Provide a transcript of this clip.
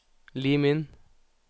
Lim inn